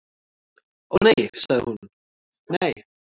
"""Ó, nei sagði hún, nei."""